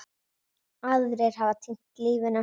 Aðrir hafa týnt lífinu.